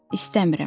İstəmirəm.